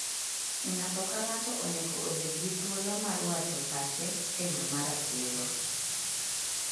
Ng'ato ka ng'ato onego obed gi thuolo mar wacho pache e yo ma ratiro.